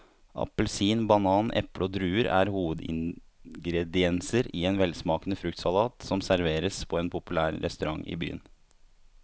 Appelsin, banan, eple og druer er hovedingredienser i en velsmakende fruktsalat som serveres på en populær restaurant i byen.